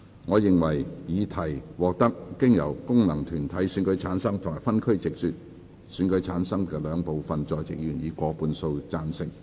我認為議題獲得經由功能團體選舉產生及分區直接選舉產生的兩部分在席議員，分別以過半數贊成。